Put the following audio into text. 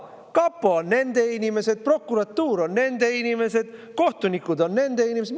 Kapo on nende inimesed, prokuratuur on nende inimesed, kohtunikud on nende inimesed.